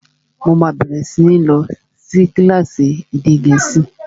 Mo máa bẹ̀rẹ̀ sí ní lọ sí kílásì èdè gẹ̀ẹ́sì